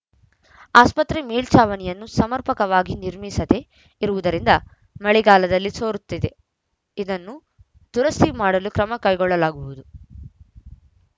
ಆಸ್ಪತ್ರೆ ಮೇಲ್ಚಾವಣಿಯನ್ನು ಸಮರ್ಪಕವಾಗಿ ನಿರ್ಮಿಸದೆ ಇರುವುದರಿಂದ ಮಳೆಗಾಲದಲ್ಲಿ ಸೋರುತ್ತಿದೆ ಇದನ್ನು ದುರಸ್ತಿ ಮಾಡಲು ಕ್ರಮ ಕೈಗೊಳ್ಳಲಾಗುವುದು